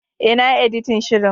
E, na yi editin shirin.